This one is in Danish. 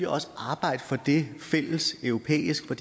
også arbejde for det fælleseuropæisk for